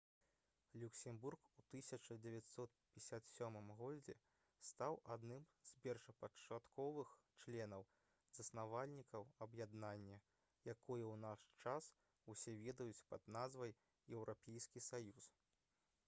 люксембург у 1957 г. стаў адным з першапачатковых членаў-заснавальнікаў аб'яднання якое ў наш час усе ведаюць пад назвай «еўрапейскі саюз»